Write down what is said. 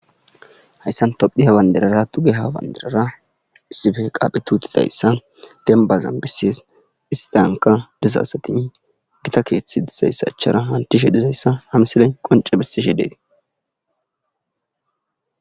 hayssan tophi ha banderara tuge hawandirara issife qaaphe tuutidayssa dembazan bisees istanka dizasatin gita keethethi dizayssachara hantishe dizayssa hamsiley qonce bissishi deet